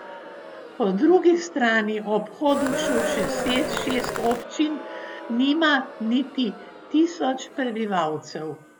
Po drugi strani ob Hodošu še šest občin nima niti tisoč prebivalcev.